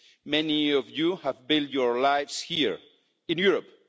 Many of you have built your lives here, in Europe.